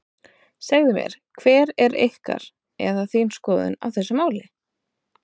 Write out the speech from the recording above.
Segðu mér hver er ykkar, eða þín skoðun á þessu máli?